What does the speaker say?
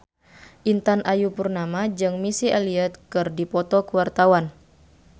Intan Ayu Purnama jeung Missy Elliott keur dipoto ku wartawan